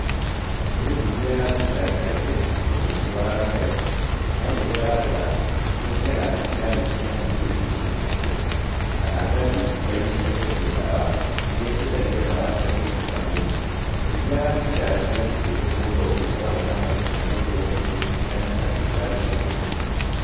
Niĩ ndithiaga thibitarĩ kaingĩ. tondũ ndirũaraga kaingĩ. No rĩrĩa ndarũara, nĩ thiaga thibitarĩ-inĩ cia mũingĩ iria ciĩ hakuhĩ, kana ngathiĩ nduka-inĩ cia kwendia ndawa, iria ciendagia ndawa cia kũrigita mwĩrĩ. Ndithiaga thibitarĩ cia andũ kĩũmbe nĩ gũkorwo cikoragwo na marĩhi marĩ igũrũ ũngĩringithania na thibitarĩ cia mũingĩ.